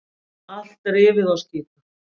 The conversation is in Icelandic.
Allt rifið og skítugt.